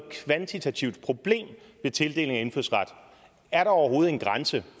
kvantitativt problem ved tildeling af indfødsret er der overhovedet en grænse